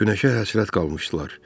Günəşə həsrət qalmışdılar.